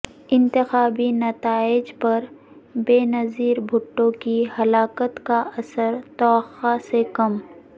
انتخابی نتائج پر بینظیر بھٹو کی ہلاکت کا اثر توقع سے کم